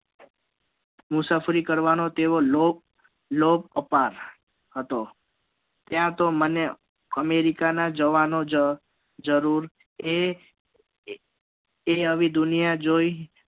મુસાફરી કરવા નો તેઓ લોભ લોભ કપા હતો ત્યાં તો મને america ના જવાનો જા જરૂર એ એ હવે દુનિયા જોઈ